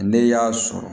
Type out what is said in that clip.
Ne y'a sɔrɔ